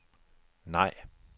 nej